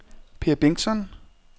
Peer Bengtsson